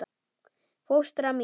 Fóstra mín